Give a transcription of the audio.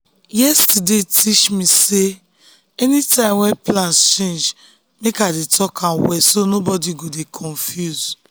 yesterday teach me sey anytime wey plans change make i dey talk am well so nobody go dey confused.